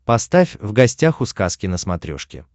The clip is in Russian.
поставь в гостях у сказки на смотрешке